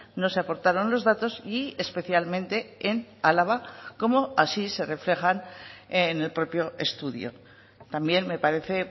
no se aportaron los datos y especialmente en álava como así se reflejan en el propio estudio también me parece